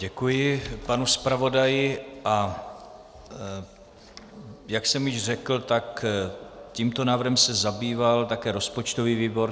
Děkuji panu zpravodaji, a jak jsem již řekl, tak tímto návrhem se zabýval také rozpočtový výbor.